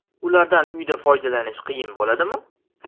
Ulardan uyda foydalanish qiyin bo‘ladimi?